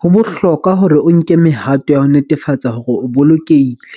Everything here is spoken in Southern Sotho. ho bohlokwa hore o nke mehato ya ho netefatsa hore o bolokehile.